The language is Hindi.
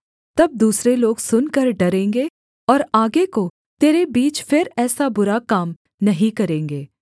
तब दूसरे लोग सुनकर डरेंगे और आगे को तेरे बीच फिर ऐसा बुरा काम नहीं करेंगे